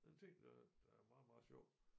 Der en ting der der er meget meget sjov